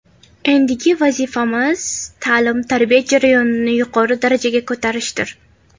Endigi vazifamiz ta’lim-tarbiya jarayonini yuqori darajaga ko‘tarishdir.